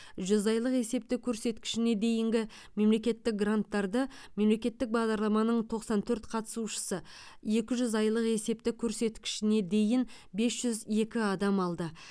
жүз айлық есептік көрсеткішіне дейінгі мемлекеттік гранттарды мемлекеттік бағдарламаның тоқсан төрт қатысушысы екі жүз айлық есептік көрсеткішіне дейін бес жүз екі адам алды